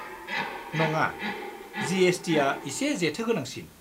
नङा, जि.एस.टि.आ एसे जेथो गोनांसिन।